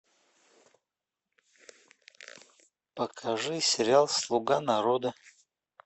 покажи сериал слуга народа